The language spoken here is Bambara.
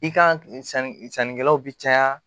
I kan ki sanni sannikɛlaw bi caya